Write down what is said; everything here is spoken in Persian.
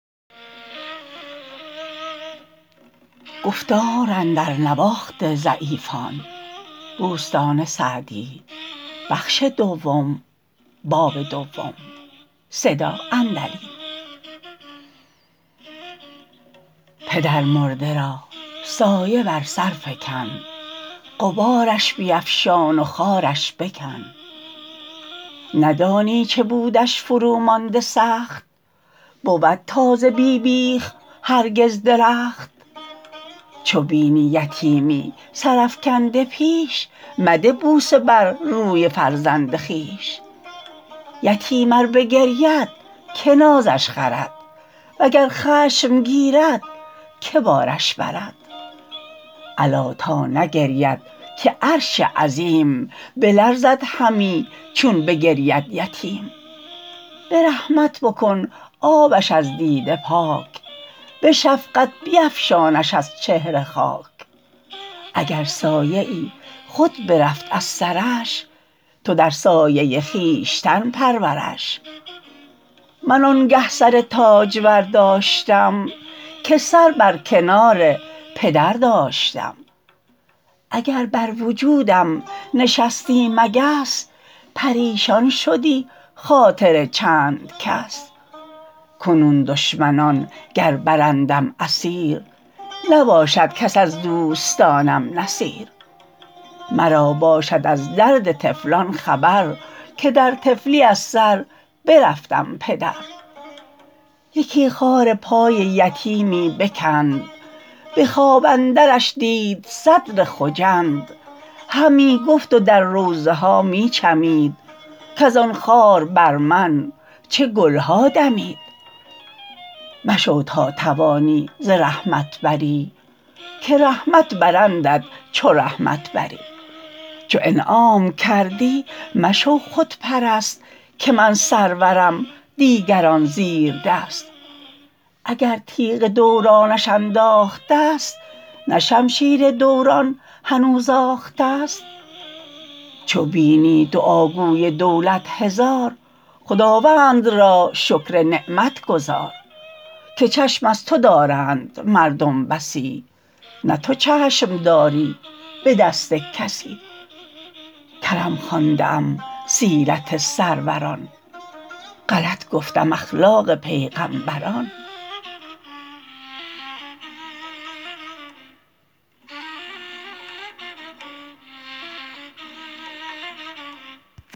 پدرمرده را سایه بر سر فکن غبارش بیفشان و خارش بکن ندانی چه بودش فرو مانده سخت بود تازه بی بیخ هرگز درخت چو بینی یتیمی سر افکنده پیش مده بوسه بر روی فرزند خویش یتیم ار بگرید که نازش خرد وگر خشم گیرد که بارش برد الا تا نگرید که عرش عظیم بلرزد همی چون بگرید یتیم به رحمت بکن آبش از دیده پاک به شفقت بیفشانش از چهره خاک اگر سایه خود برفت از سرش تو در سایه خویشتن پرورش من آنگه سر تاجور داشتم که سر بر کنار پدر داشتم اگر بر وجودم نشستی مگس پریشان شدی خاطر چند کس کنون دشمنان گر برندم اسیر نباشد کس از دوستانم نصیر مرا باشد از درد طفلان خبر که در طفلی از سر برفتم پدر یکی خار پای یتیمی بکند به خواب اندرش دید صدر خجند همی گفت و در روضه ها می چمید کز آن خار بر من چه گلها دمید مشو تا توانی ز رحمت بری که رحمت برندت چو رحمت بری چو انعام کردی مشو خودپرست که من سرورم دیگران زیردست اگر تیغ دورانش انداخته ست نه شمشیر دوران هنوز آخته ست چو بینی دعاگوی دولت هزار خداوند را شکر نعمت گزار که چشم از تو دارند مردم بسی نه تو چشم داری به دست کسی کرم خوانده ام سیرت سروران غلط گفتم اخلاق پیغمبران